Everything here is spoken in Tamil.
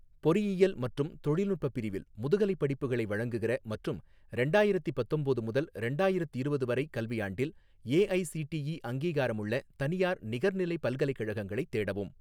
பொறியியல் மற்றும் தொழில்நுட்ப பிரிவில் முதுகலைப் படிப்புகளை வழங்குகிற மற்றும் ரெண்டாயிரத்தி பத்தொம்போது முதல் ரெண்டாயிரத்திரவது வரை கல்வியாண்டில் ஏஐசிடிஇ அங்கீகாரமுள்ள தனியார் நிகர்நிலை பல்கலைக்கழகங்களைத் தேடவும்.